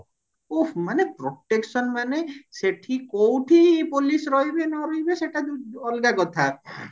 ଓଃ ମାନେ protection ମାନେ ସେହତି କଉଠି police ରହିବେ ନ ରହିବେ ସେଟା ଅଲଗା କଥା